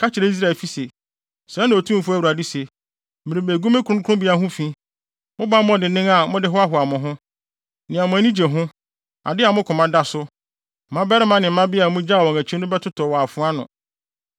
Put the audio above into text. Ka kyerɛ Israelfi se: ‘Sɛɛ na Otumfo Awurade se: Merebegu me kronkronbea ho fi; mo bammɔ dennen a mode hoahoa mo ho, nea mo ani gye ho, ade a mo koma da so. Mmabarima ne mmabea a mugyaw wɔn akyi no bɛtotɔ wɔ afoa ano.